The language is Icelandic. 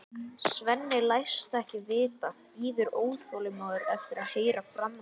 Svenni læst ekkert vita, bíður óþolinmóður eftir að heyra framhaldið.